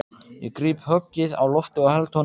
Ég gríp höggið á lofti og held honum í skefjum.